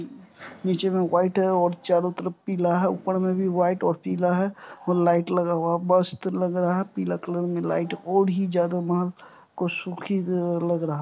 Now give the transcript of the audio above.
नीचे में व्हाइट है और चारों तरफ पीला है ऊपर में भी व्हाइट और पीला है वहां लाइट लगा हुआ मस्त लग रहा है पीला कलर में लाइट और ही ज्यादा मन को सूखी लग रहा है।